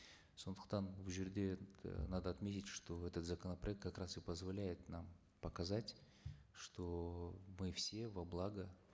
сондықтан бұл жерде э надо отметить что этот законопроект как раз и позволяет нам показать что мы все во благо